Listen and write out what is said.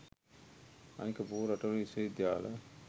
අනික බොහෝ රටවල විශ්ව විද්‍යාල